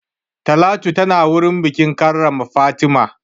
Talatu tana wurin bikin karrama Fatima.